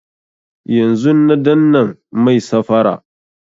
Yanzun na dannan mai safara